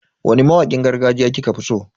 Wani mawakin gargajiya kika fi so?